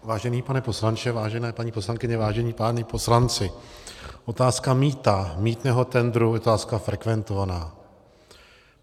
Vážený pane poslanče, vážené paní poslankyně, vážení páni poslanci, otázka mýta, mýtného tendru, je otázka frekventovaná.